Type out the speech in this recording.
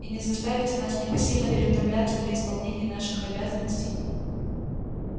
и не заставите нас непосильно переутомляться при исполнении наших обязанностей